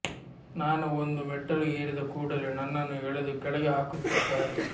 ನಾನು ಒಂದು ಮೆಟ್ಟಲು ಏರಿದ ಕೂಡಲೇ ನನ್ನನ್ನು ಎಳೆದು ಕೆಳಗೆ ಹಾಕುತ್ತಿದ್ದಾರೆ